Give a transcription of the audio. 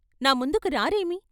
నా ముందుకు రారేమి?